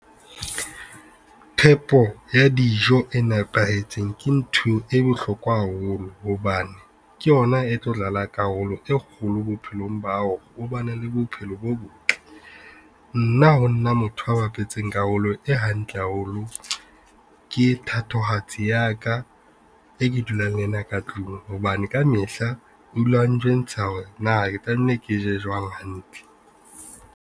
Phepo ya dijo e nepahetseng ke ntho e bohlokwa haholo hobane ke yona e tlo dlala karolo e kgolo bophelong ba hao o ba ne le bophelo bo botle. Nna ho nna motho a bapetseng karolo e hantle haholo, ke thatohatsi ya ka e ke dulang le yena ka tlung hobane kamehla o dula a njwentsha hore na ke tlamehile ke je jwang hantle.